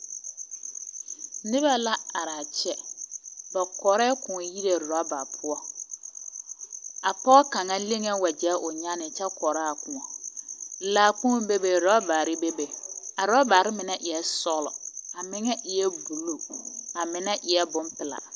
Nebɛ la arɛɛ kyɛ! Ba kɔrɛɛ kõɔ yire rɔba poɔ. A pɔge kaŋa leŋee wagyɛ o nyane kyɛ kɔrɔ a kõɔ. Laakpoŋ bebe rɔbarre bebe. A rɔbarre mine eɛ sɔglɔ, a mine eɛ buluu, a mine eɛ bompeɛl.